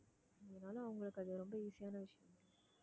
அதனால அவங்களுக்கு அது ரொம்ப easy யான விஷயம்